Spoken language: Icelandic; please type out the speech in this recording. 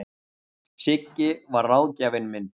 Siggi var ráðgjafinn minn.